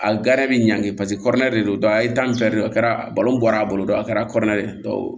A bi ɲanki paseke kɔrɔlen de don a ye tan de kɛ a kɛra balon bɔra a bolo don a kɛra kɔrɔlen